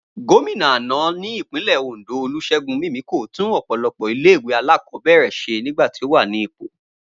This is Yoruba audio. Gómìnà àná ní Ìpínlẹ̀ Òndó Olúṣẹ́gun Mímíkò tún ọ̀pọ̀lọpọ̀ ilé ìwé alákọ̀ọ́bẹ̀rẹ̀ ṣe nígbà tó wà ní ipò